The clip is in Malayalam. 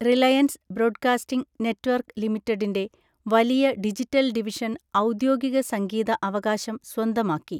റിലയൻസ് ബ്രോഡ്കാസ്റ്റിംഗ് നെറ്റ്‌വർക്ക് ലിമിറ്റഡിന്റെ വലിയ ഡിജിറ്റൽ ഡിവിഷൻ ഔദ്യോഗിക സംഗീത അവകാശം സ്വന്തമാക്കി.